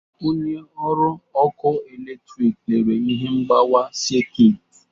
Onye ọrụ ọkụ eletrịkị lere ihe mgbawa sekit.